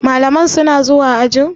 Malaman suna zuwa ajin?